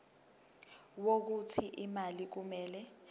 wokuthi imali kumele